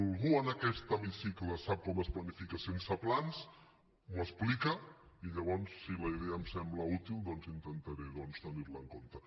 algú en aquest hemicicle sap com es planifica sense plans m’ho explica i llavors si la idea em sembla útil doncs intentaré tenir la en compte